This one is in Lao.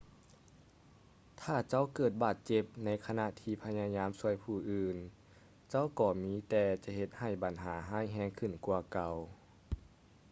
ຖ້າເຈົ້າເກີດບາດເຈັບໃນຂະນະທີ່ພະຍາຍາມຊ່ວຍຜູ້ອື່ນ ເຈົ້າກໍມີແຕ່ຈະເຮັດໃຫ້ບັນຫາຮ້າຍແຮງຂຶ້ນກວ່າເກົ່າ